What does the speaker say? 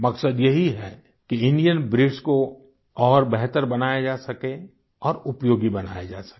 मकसद यही है कि इंडियन ब्रीड्स को और बेहतर बनाया जा सके और उपयोगी बनाया जा सके